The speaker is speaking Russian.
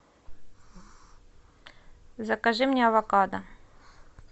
закажи мне авокадо